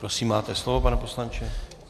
Prosím, máte slovo, pane poslanče.